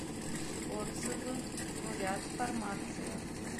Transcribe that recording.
отзывы бурят фармация